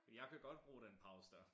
For jeg kan godt bruge den pause dér